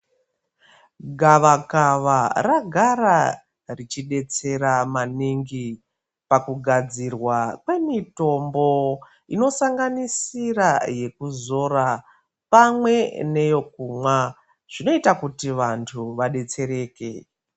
Gavakava ragara richidetsera maningi pakugadzirwa kwemitombo inosanganisira yekuzora pamwe neyekumwa zvinoita kuti vanhu vadetsereke.